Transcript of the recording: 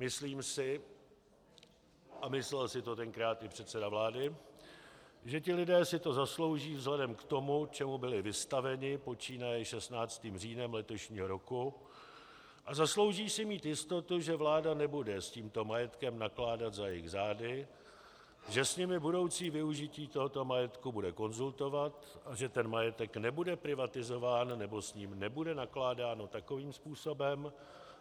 Myslím si, a myslel si to tenkrát i předseda vlády, že ti lidé si to zaslouží vzhledem k tomu, čemu byli vystaveni, počínaje 16. říjnem letošního roku, a zaslouží si mít jistotu, že vláda nebude s tímto majetkem nakládat za jejich zády, že s nimi budoucí využití tohoto majetku bude konzultovat a že ten majetek nebude privatizován nebo s ním nebude nakládáno takovým způsobem,